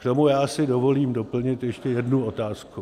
K tomu já si dovolím doplnit ještě jednu otázku.